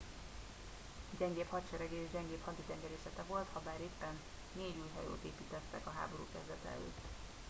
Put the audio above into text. gyengébb hadserege és gyengébb haditengerészete volt habár éppen négy új hajót építettek a háború kezdete előtt